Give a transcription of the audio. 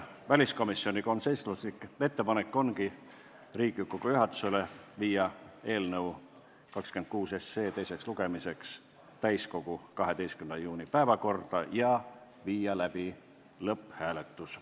Väliskomisjoni konsensuslik ettepanek Riigikogu juhatusele oli panna eelnõu 26 teiseks lugemiseks täiskogu 12. juuni istungi päevakorda ja viia läbi lõpphääletus.